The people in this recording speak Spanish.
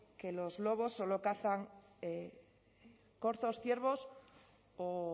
que los lobos solo cazan corzos ciervos o